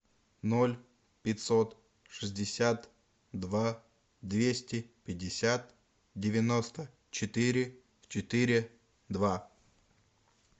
ноль пятьсот шестьдесят два двести пятьдесят девяносто четыре четыре два